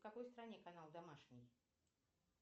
в какой стране канал домашний